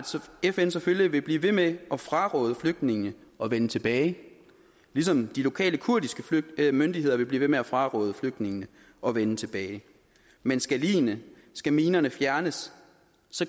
fn selvfølgelig vil blive ved med at fraråde flygtningene at vende tilbage ligesom de lokale kurdiske myndigheder vil blive ved med at fraråde flygtningene at vende tilbage men skal ligene skal minerne fjernes